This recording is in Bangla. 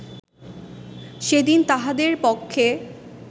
সেদিন তাহাদের পক্ষে